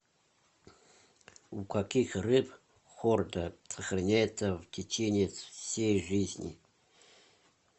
у каких рыб хорда сохраняется в течение всей жизни